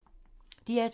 DR2